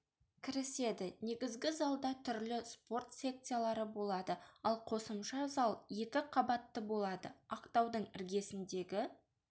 кіріседі негізгі залда түрлі спорт секциялары болады ал қосымша зал екі қабатты болады ақтаудың іргесіндегі